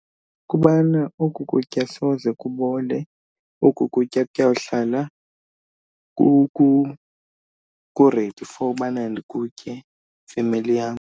Kubana oku kutya soze kubole, oku kutya kutya kuyawuhlala ku-ready for ubana nikutye femeli yam.